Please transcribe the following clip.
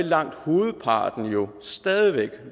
langt hovedparten jo stadig væk